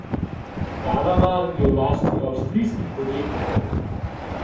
Valamar je v lasti avstrijskih podjetnikov.